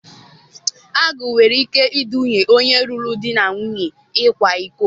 Agụụ nwere ike iduga onye lụrụ di na nwunye ịkwa iko